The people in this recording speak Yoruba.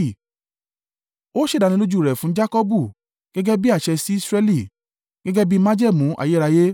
Ó ṣe ìdánilójú u rẹ̀ fún Jakọbu gẹ́gẹ́ bí àṣẹ, sí Israẹli, gẹ́gẹ́ bi májẹ̀mú ayérayé: